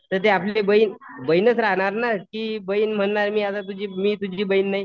तर ती आपली बहीण बहीणच राहणार ना. की बहीण म्हणणार आता मी तुझी मी तुझी बहीण नाही.